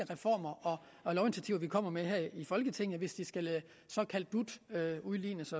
reformer og lovinitiativer vi kommer med her i folketinget hvis det skal såkaldt dut udlignes